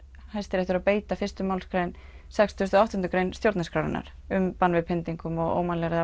Hæstiréttur að beita sextíu og átta grein stjórnarskrárinnar um bann við pyntingum og ómannúðlegri